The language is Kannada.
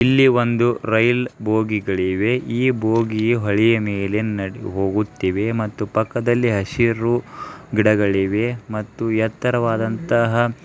ಇಲ್ಲಿ ಒಂದು ರೈಲ್ ಭೋಗಿಗಳಿವೆ ಈ ಭೋಗಿಯೂ ಅಳಿಯ ಮೇಲೆ ಹೋಗುತ್ತಿವೆ ಮತ್ತು ಪಕ್ಕದಲ್ಲಿ ಹಸಿರು ಗಿಡಗಳಿವೆ ಮತ್ತು ಎತ್ತರವಾದಂತಹ.